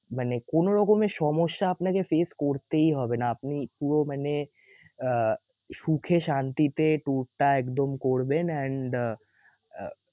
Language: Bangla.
মানে কোনো রকমের সমস্যা আপনাকে face করতেই হবে না আপনি একটুও মানে আহ সুখে শান্তিতে tour টা একদম করবেন and